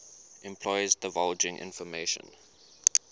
employees divulging information